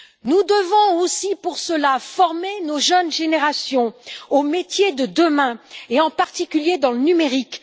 Nous devons aussi pour cela former nos jeunes générations aux métiers de demain, en particulier dans le numérique.